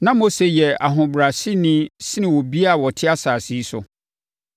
Na Mose yɛ ɔhobrɛaseni sene obiara a ɔte asase yi so.